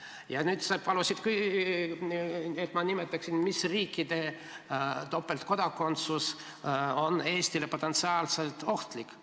Ja nüüd sa palusid, et ma nimetaksin, mis riikide topeltkodakondsus on Eestile potentsiaalselt ohtlik.